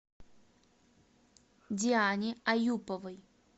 диане аюповой